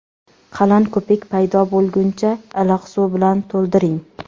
Qalin ko‘pik paydo bo‘lguncha iliq suv bilan to‘ldiring.